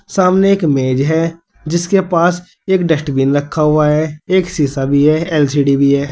सामने एक मेज है जिसके पास एक डस्टबिन रखा हुआ है एक सीसा भी है एल_सी_डी भी है।